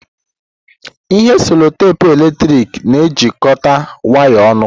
Ihe cello teepu eletrik na-ejikọta waya ọnụ.